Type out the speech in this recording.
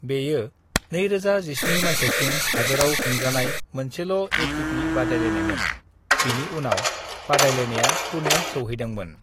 "बेयो 2017 माइथायसिम हादोराव खुंजानाय मोनसेल' एटीपी बादायलायनायमोन, बिनि उनाव बादायलायनाया पुणे सौहैदोंमोन।"